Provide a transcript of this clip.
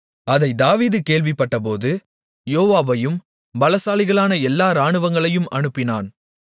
அதைத் தாவீது கேள்விப்பட்டபோது யோவாபையும் பலசாலிகளான எல்லா இராணுவங்களையும் அனுப்பினான்